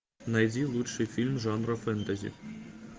найди лучший фильм жанра фэнтези